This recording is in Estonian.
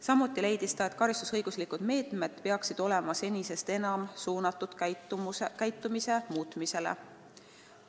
Samuti leidis ta, et karistusõiguslikud meetmed peaksid senisest enam olema suunatud käitumise muutmisele.